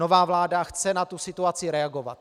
Nová vláda chce na tuto situaci reagovat.